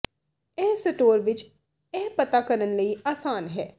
ਇਹ ਸਟੋਰ ਵਿੱਚ ਇਹ ਪਤਾ ਕਰਨ ਲਈ ਆਸਾਨ ਹੈ